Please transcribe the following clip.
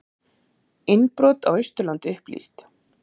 Innbrot á Austurlandi upplýst